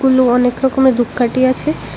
আলো অনেক রকমের ধূপকাঠি আছে।